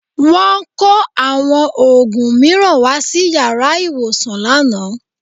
Wọ́n kó àwọn òògùn mìíràn wá sí yàrá ìwòsàn lánàá